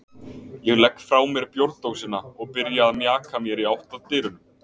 Ég legg frá mér bjórdósina og byrja að mjaka mér í átt að dyrunum.